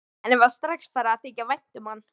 Henni var strax farið að þykja vænt um hann.